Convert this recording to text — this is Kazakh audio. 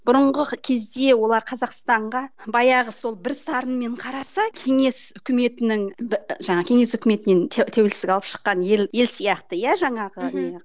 бұрынғы кезде олар қазақстанға баяғы сол бір сарынмен қараса кеңес үкіметінің жаңағы кеңес үкіметінен тәуелсіз алып шыққан ел ел сияқты иә жаңағы не